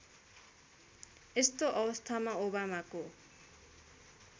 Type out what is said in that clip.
यस्तो अवस्थामा ओबामाको